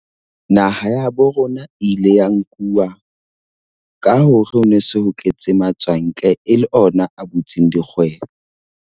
Naha ya ha borona ile ya nkuwa ka hore ho no se ho tletse matswantle, e le ona a butseng dikgwebo.